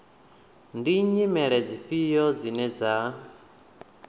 ndi nyimele dzifhio dzine dza